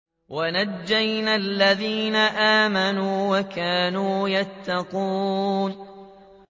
وَنَجَّيْنَا الَّذِينَ آمَنُوا وَكَانُوا يَتَّقُونَ